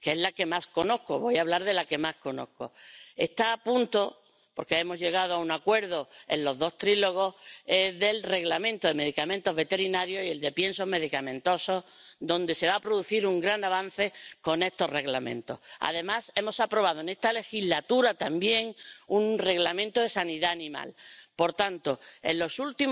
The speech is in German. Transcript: Frau Präsidentin, meine sehr geehrten Damen und Herren Kollegen! Der Bericht befasst sich mit einem sehr ernsten Thema, nämlich AMR, den Multiresistenzen bei Bakterien. Eine viel zu große Zahl von Toten in Europas Krankenhäusern geht auf ihr Konto, und mehr und mehr Therapien schlagen leider nicht mehr an. Es ist vollkommen richtig und die Zielrichtung ist absolut